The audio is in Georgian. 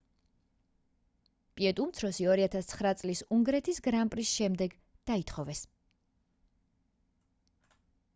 პიკეტ უმცროსი 2009 წლის უნგრეთის გრან პრის შემდეგ დაითხოვეს